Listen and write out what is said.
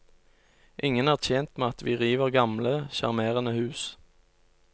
Ingen er tjent med at vi river gamle, sjarmerende hus.